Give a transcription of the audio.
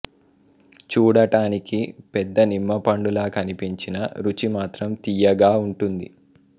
చూడటానికి పెద్ద నిమ్మపండు లా కనిపించినా రుచి మాత్రం తీయగా ఉంటుంది